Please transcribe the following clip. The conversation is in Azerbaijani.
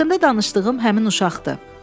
Haqqında danışdığım həmin uşaqdır.